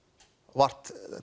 vart